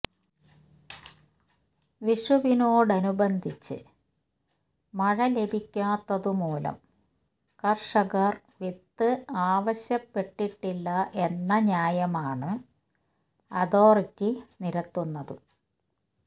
വിഷുവിനോട് അനുബന്ധിച്ച് മഴ ലഭിക്കാത്തതുമൂലം കര്ഷകര് വിത്ത് ആവശ്യപ്പെട്ടിട്ടില്ല എന്ന ന്യായമാണ് അഥോറിറ്റി നിരത്തുന്നത്